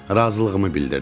Razılığımı bildirdim.